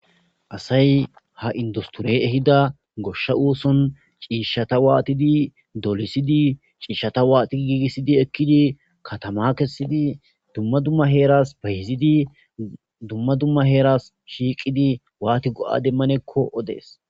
asay ha industore ehida goshsha oson ciishshata waatidi dolisidi ciishshata waati giigisidi ekkidi katama kessidi dumma dumma heeras bayizidi dumma dumma heeras shiiqidi waati go'a demanekko odees